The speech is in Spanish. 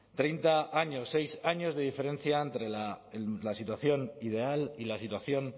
treinta años seis años de diferencia entre la situación ideal y la situación